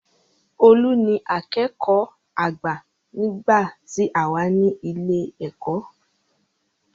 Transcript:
Olú ni akẹ́kọ̀ọ́ àgbà nígbà tí àwa ní ilé ẹ̀kọ́.